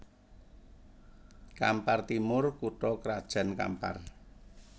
Kampar Timur kutha krajan Kampar